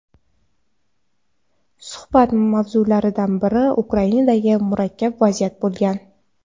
Suhbat mavzularidan biri Ukrainadagi murakkab vaziyat bo‘lgan.